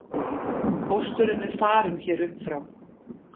Pósturinn er farinn hér upp frá